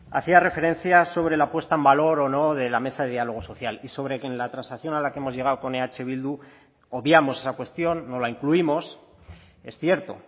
hacía referencia sobre la puesta en valor o no de la mesa de diálogo social y sobre que en la transacción a la que hemos llegado con eh bildu obviamos esa cuestión no la incluimos es cierto